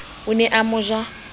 o ne a mo ja